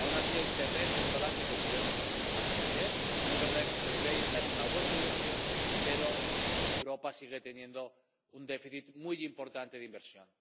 Aun así hay terreno por delante que podemos acometer y es verdad que el BEI está en una buena dirección, pero Europa sigue teniendo un déficit muy importante de inversión.